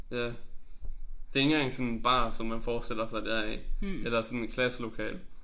Ja. Det ikke engang sådan en bar som man forestiller sig det er i eller sådan et klasselokale